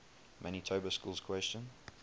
manitoba schools question